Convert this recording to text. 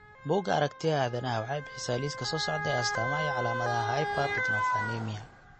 Bugga Aragtiyaha Aadanaha waxay bixisaa liiska soo socda ee astaamaha iyo calaamadaha Hypertryptophanemia.